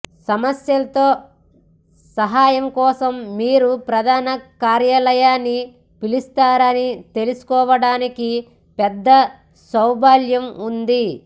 సమస్యలతో సహాయం కోసం మీరు ప్రధాన కార్యాలయాన్ని పిలుస్తారని తెలుసుకోవడానికి పెద్ద సౌలభ్యం ఉంది